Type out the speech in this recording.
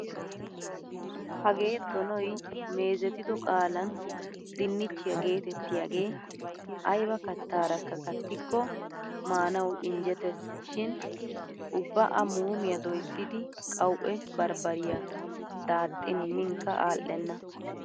Hagee donoy meezetido qaalan dinnichchiya geetettiyagee ayba kattaarakka kattikko maanawu injjeteesi shin ubba A muumiya doyssidi qawu'e barbbariya daaxxin miinkka alenna.